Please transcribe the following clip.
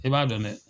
I b'a dɔn dɛ